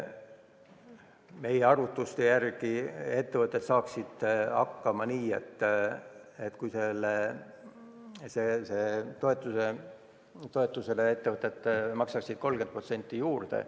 Meie arvutuste järgi saaksid ettevõtted hakkama nii, et nad ise maksaksid sellele toetusele 30% juurde.